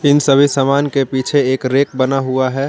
इन सभी समान के पीछे एक रैक बना हुआ है।